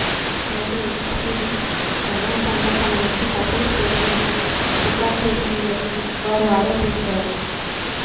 అయితే ఎన్సీబీ బలవంతంగా తమ నుంచి తప్పుడు స్టేట్మెంట్లను రికార్డు చేసిందని వారు ఆరోపించారు